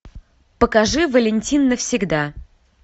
покажи валентин навсегда